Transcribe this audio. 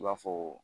I b'a fɔ